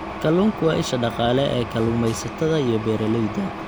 Kalluunku waa isha dhaqaale ee kalluumaysatada iyo beeralayda.